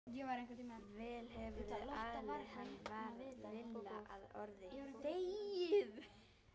Vel hefurðu alið hann varð Lilla að orði.